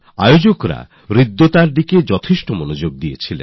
আয়োজকরা স্বচ্ছতার দিকে পূর্ণ নজর দিয়েছেন